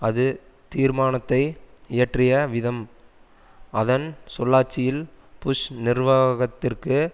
அது தீர்மானத்தை இயற்றிய விதம் அதன் சொல்லாட்சியில் புஷ் நிர்வாகத்திற்கு